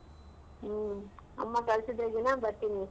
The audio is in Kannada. ಹ್ಮ. ಅಮ್ಮ ಕಳ್ಸಿದ್ರೆ ಬರ್ತೀನಿ.